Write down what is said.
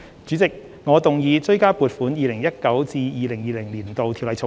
主席，我動議二讀《2020年性別歧視條例草案》。